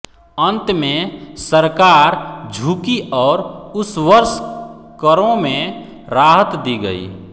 अन्त में सरकार झुकी और उस वर्ष करों में राहत दी गयी